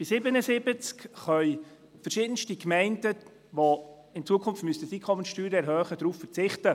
Bei 77 können verschiedenste Gemeinden, die in Zukunft die Einkommenssteuer erhöhen müssten, darauf verzichten.